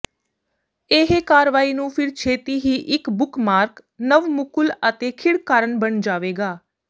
ਇਹ ਕਾਰਵਾਈ ਨੂੰ ਫਿਰ ਛੇਤੀ ਹੀ ਇੱਕ ਬੁੱਕਮਾਰਕ ਨਵ ਮੁਕੁਲ ਅਤੇ ਖਿੜ ਕਾਰਨ ਬਣ ਜਾਵੇਗਾ